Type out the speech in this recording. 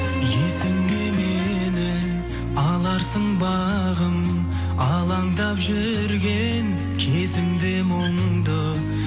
есіңе мені аларсың бағым алаңдап жүрген кезіңде мұңды